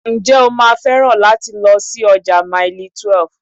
Ǹjẹ́ o máa féràn láti lọ sí ọjà Mailí 12?